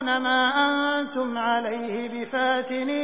مَا أَنتُمْ عَلَيْهِ بِفَاتِنِينَ